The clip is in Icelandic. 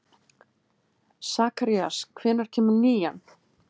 Sakarías, hvenær kemur nían?